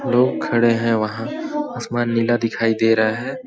लोग खड़े हैं वहां आसमान नीला दिखाई दे रहा है ।